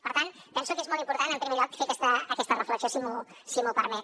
per tant penso que és molt important en primer lloc fer aquesta reflexió si m’ho permet